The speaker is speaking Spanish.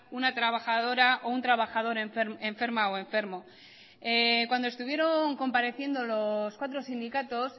una trabajadora o un trabajador enferma o enfermo cuando estuvieron compareciendo los cuatro sindicatos